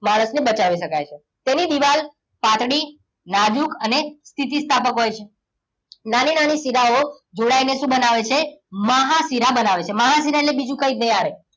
માણસને બચાવી શકાય છે. તેની દિવાલ પાતળી નાજુક અને સ્થિતિસ્થાપક હોય છે. નાની નાની શીરાઓ જોડાઈને શું બનાવે છે? મહાશિરા બનાવે છે. મહાશિરા એટલે બીજું કંઈ જ નહીં,